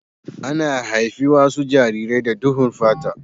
Ana haifi wasu jarirai da duhun fata.